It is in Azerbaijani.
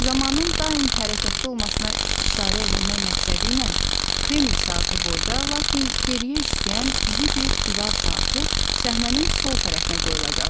Zamanın daim hərəkətdə olmasına işarə eləmək məqsədi ilə Kreml saatı boyda, lakin geriyə işləyən iri bir divar saatı səhnənin sol tərəfinə qoyulacaqdı.